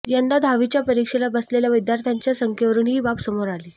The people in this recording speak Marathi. यंदा दहावीच्या परीक्षेला बसलेल्या विद्यार्थ्यांच्या संख्येवरून ही बाब समोर आली